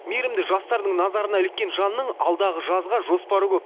мейірімді жастардың назарына іліккен жанның алдағы жазға жоспары көп